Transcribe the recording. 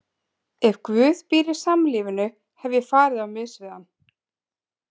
Ef Guð býr í samlífinu, hef ég farið á mis við hann.